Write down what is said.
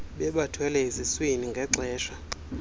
bebathwele eziswini ngexesha